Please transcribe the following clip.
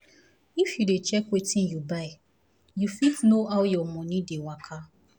if you dey check wetin you buy um you fit know how your money dey um waka